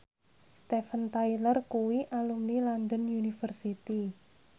Steven Tyler kuwi alumni London University